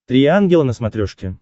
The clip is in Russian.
три ангела на смотрешке